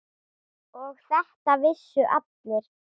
Og þetta vissu allir.